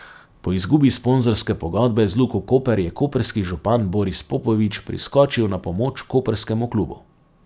Po izgubi sponzorske pogodbe z Luko Koper je koprski župan Boris Popovič priskočil na pomoč koprskemu klubu.